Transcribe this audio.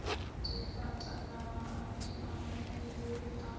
difatanaga a di amogilwe a